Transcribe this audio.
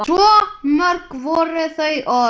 Svo mörg voru þau orð!